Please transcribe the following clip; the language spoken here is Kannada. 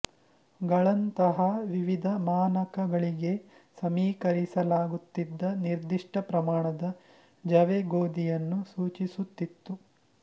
ಗಳಂತಹಾ ವಿವಿಧ ಮಾನಕಗಳಿಗೆ ಸಮೀಕರಿಸಲಾಗುತ್ತಿದ್ದ ನಿರ್ದಿಷ್ಟ ಪ್ರಮಾಣದ ಜವೆಗೋಧಿಯನ್ನು ಸೂಚಿಸುತ್ತಿತ್ತು